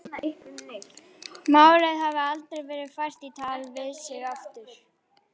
Málið hafi aldrei verið fært í tal við sig aftur.